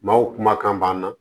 Maaw kumakan b'an na